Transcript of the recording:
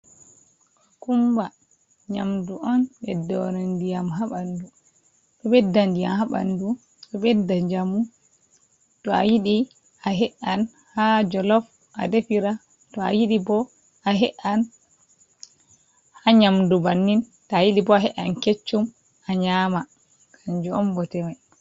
Kukumba, nƴamdu on ɓeddore ndiƴam haa ɓandu. Ɗo ɓedda ndiƴam haa ɓandu, ɗo ɓedda njamu. To a yiɗi, a he’an haa jolof a defira. To a yiɗi bo, a he’an haa nƴamdu bannin. To a yiɗi bo, a he’an keccum a nƴama. Kanjum on bote mai.